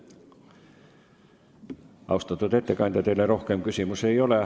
Austatud ettekandja, teile rohkem küsimusi ei ole.